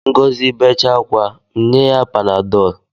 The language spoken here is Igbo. Ngọzi becha akwa, m nye ya panadọl